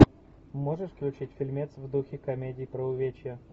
можешь включить фильмец в духе комедии про увечья